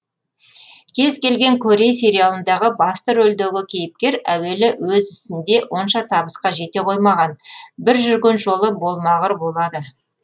кез келген корей сериалындағы басты рөлдегі кейіпкер әуелі өз ісінде онша табысқа жете қоймаған бір жүрген жолы болмағыр болады